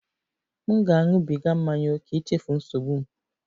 M na-aṅụbiga mmanya ókè ichefu nsogbu m